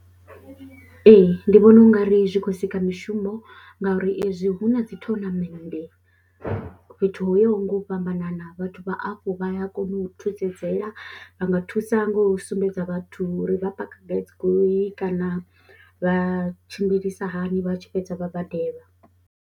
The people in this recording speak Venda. Ee, ndi vhona u nga ri zwi khou sika mishumo ngauri ezwi hu na dzi thonamende fhethu ho yaho nga u fhambanana vhathu vha hafho vha ya kona u thusedzela, vha nga thusa nga u sumbedza vhathu uri vha paka gai dzi goloi kana vha tshimbilisa hani vha tshi fhedza vha badelwa.